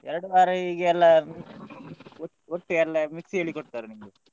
ಎರಡು ವಾರ ಹೀಗೆಲ್ಲ ಒಟ್ಟು ಎಲ್ಲ mix ಹೇಳಿ ಕೊಡ್ತಾರೆ ನಿನ್ಗೆ.